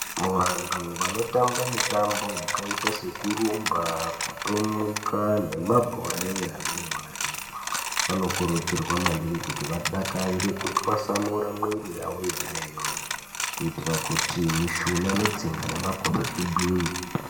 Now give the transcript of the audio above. Vanthu vanotamba mitambo yakaite sekurumba, kutomuka nemabhora enyara vanokurudzirwa maningi kuti vadakarire kutwasamure mwiri yavo kuitira kuti mishuna netsinga nemagodo zvigwinye.